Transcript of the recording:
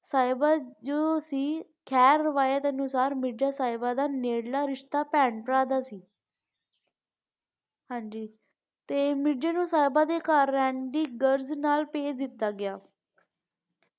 ਸਾਹਿਬਾ ਜੋ ਸੀ ਦੇ ਅਨੁਸਰ ਮਿਰਜ਼ਾ ਸਾਹਿਬਾ ਦਾ ਨੇੜਲਾ ਰਿਸ਼ਤਾ ਭੈਣ ਭਰਾ ਦਾ ਸੀ ਹਾਂਜੀ ਤੇ ਮਿਰਜ਼ਾ ਨੂੰ ਸਾਹਿਬਾ ਦੇ ਘਰ ਰਹਿਣ ਦੀ ਗਰਜ਼ ਨਾਲ ਭੇਜ ਦਿੱਤਾ ਗਿਆ